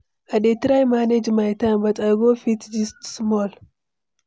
I dey try manage my time, but I go fit gist small.